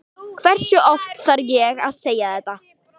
Hversu oft þarf ég að segja það?